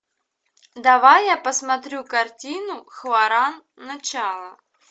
давай я посмотрю картину хваран начало